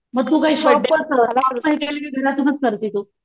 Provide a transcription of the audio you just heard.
मग तू काय घरातूनच करते तू?